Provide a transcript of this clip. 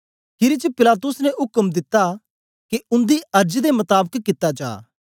खीरी च पिलातुस ने उक्म दिता के उन्दी अर्ज दे मताबक कित्ता जा